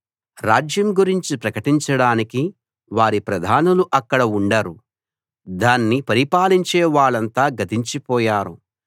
రాజ్యం గురించి ప్రకటించడానికి వారి ప్రధానులు అక్కడ ఉండరు దాన్ని పరిపాలించే వాళ్ళంతా గతించిపోయారు